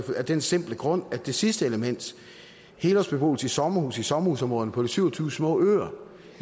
af den simple grund at det sidste element helårsbeboelse i sommerhus i sommerhusområderne på de syv og tyve små øer